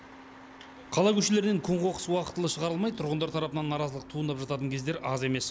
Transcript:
қала көшелерінен көң қоқыс уақытылы шығарылмай тұрғындар тарапынан наразылық туындап жататын кездер аз емес